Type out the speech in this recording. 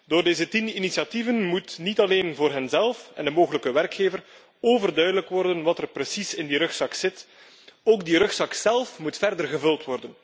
Door deze tien initiatieven moet niet alleen voor henzelf en voor de mogelijke werkgever overduidelijk worden wat er precies in die rugzak zit, maar moet ook die rugzak zélf verder worden gevul.